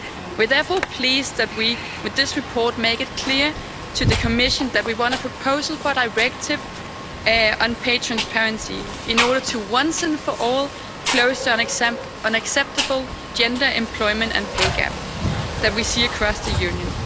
We are therefore pleased that we, with this report, make it clear to the Commission that we want a proposal for a directive on pay transparency in order to once and for all close down the unacceptable gender employment and pay gap that we see across the Union.